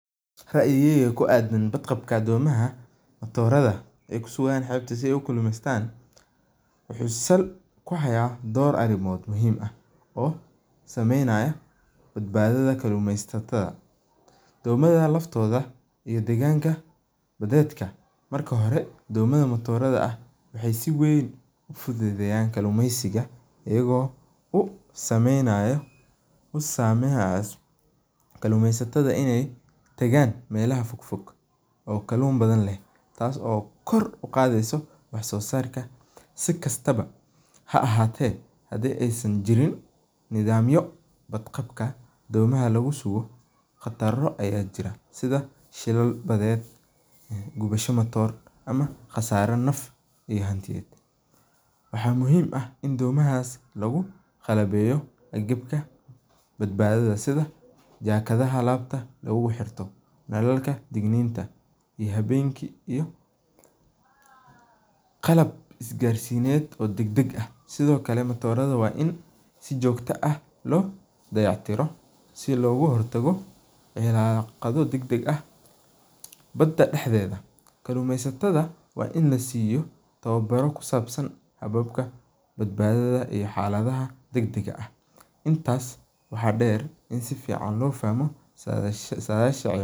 Raiyigeyga ku adan badqabka doraada ee ku sugan qeebta waxuu san dor arimood oo muhiim ah sameynayo kalumesataada, marka hore domamka matoradha ah waxee si weyn iyago same hayo kalumesataada dagan melaha fog fog tasi oo kor u qadheyso wax sosarka ha ahate hadii ee san jirin sidha shidan ee baded, waxaa muhiim ah badbadada sitha. jakaadaha alabta lagu xirto, qalab isgar sineed ee qalabka, sithokale matoradha lo dayac tiro si loga hortago cilaqado dag dag ah bada daxdedha kalumesataadu waa in la siyo tawo baro kusabsan xalado intas waxaa deer in lo fahmo sadhasha.